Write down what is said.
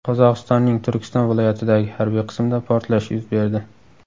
Qozog‘istonning Turkiston viloyatidagi harbiy qismda portlash yuz berdi .